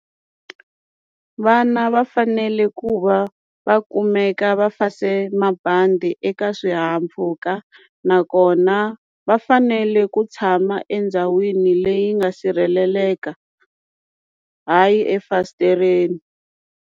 Vana va fanele ku va va kumeka va fase mabandi eka swihahampfhuka nakona va fanele ku tshama endhawini leyi nga sirheleleka hayi efasitereni.